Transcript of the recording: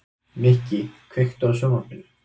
Mikki, kveiktu á sjónvarpinu.